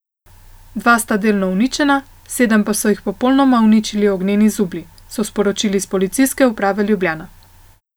Dva sta delno uničena, sedem so jih popolnoma uničili ognjeni zublji, so sporočili s Policijske uprave Ljubljana.